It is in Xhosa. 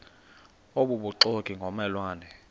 obubuxoki ngomme lwane